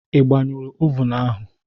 Ị gbañụrụ ovun ahụ?